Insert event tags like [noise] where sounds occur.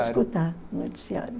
[unintelligible] escutar o noticiário.